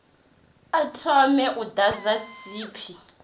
a thome u ḓadza tshipi